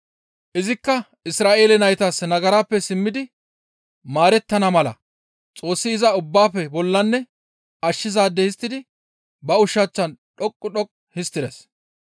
Izikka Isra7eele naytas nagarappe simmidi maarettana mala Xoossi iza ubbaafe bollanne ashshizaade histtidi ba ushachchan dhoqqu dhoqqu histtides.